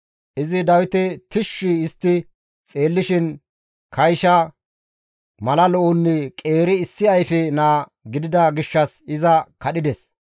Izi Dawite tishshi histti xeellishin kaysha, mala lo7onne qeeri issi ayfe naa gidida gishshas iza kadhides.